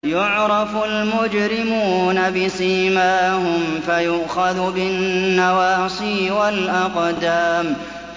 يُعْرَفُ الْمُجْرِمُونَ بِسِيمَاهُمْ فَيُؤْخَذُ بِالنَّوَاصِي وَالْأَقْدَامِ